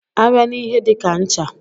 A bịa n'ihe dika ncha.